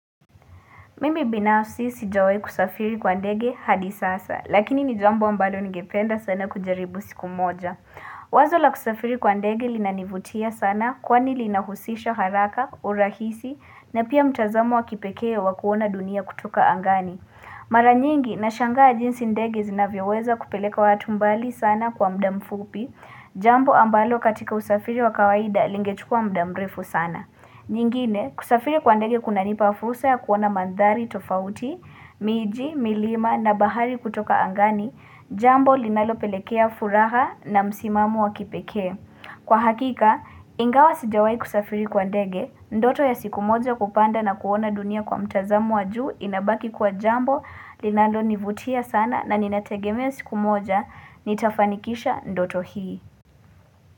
Mimi binafsi sijawahi kusafiri kwa ndege hadi sasa, lakini ni jambo ambalo ningependa sana kujaribu siku moja. Wazo la kusafiri kwa ndege linanivutia sana kwani linahusisha haraka, urahisi na pia mtazamo wa kipekee wa kuona dunia kutoka angani. Mara nyingi nashangaa jinsi ndege zinavyoweza kupeleka watu mbali sana kwa muda mfupi, jambo ambalo katika usafiri wa kawaida lingechukua muda mrefu sana. Nyingine, kusafiri kwa ndege kunanipa fursa ya kuona mandhari tofauti, miji, milima na bahari kutoka angani, jambo linalopelekea furaha na msimamo wa kipekee. Kwa hakika, ingawa sijawahi kusafiri kwa ndege, ndoto ya siku moja kupanda na kuona dunia kwa mtazamo wa juu inabaki kuwa jambo linalonivutia sana na ninategemea siku moja, nitafanikisha ndoto hii.